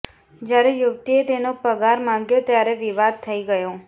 જયારે યુવતીએ તેનો પગાર માંગ્યો ત્યારે વિવાદ થઇ ગયો